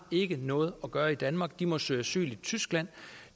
noget at gøre i danmark de må søge asyl i tyskland